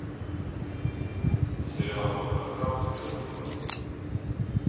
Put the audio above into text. сериал доктор хаус первый сезон